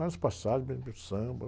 Vários, samba.